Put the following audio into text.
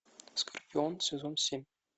скорпион сезон семь